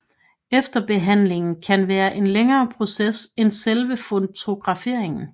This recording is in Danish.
Efterbehandlingen kan være en længere proces end selve fotograferingen